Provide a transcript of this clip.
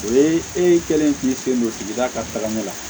O ye e kɛlen k'i sen don sigida ka taga ɲɛ la